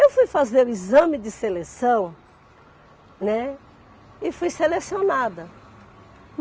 Eu fui fazer o exame de seleção, né, e fui selecionada.